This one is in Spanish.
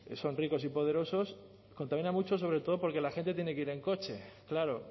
son ricos y poderosos contaminan mucho sobre todo porque la gente tiene que ir en coche claro